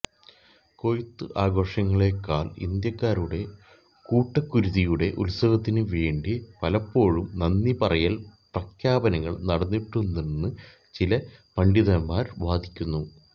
കൊയ്ത്തു ആഘോഷങ്ങളേക്കാൾ ഇന്ത്യക്കാരുടെ കൂട്ടക്കുരുതിയുടെ ഉത്സവത്തിനു വേണ്ടി പലപ്പോഴും നന്ദിപറയൽ പ്രഖ്യാപനങ്ങൾ നടന്നിട്ടുണ്ടെന്ന് ചില പണ്ഡിതന്മാർ വാദിക്കുന്നു